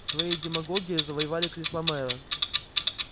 своей демагогией завоевали кресло мэра